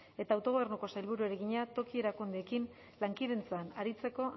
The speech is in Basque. eta autogobernuko sailburuari egina toki erakundeekin lankidetzan aritzeko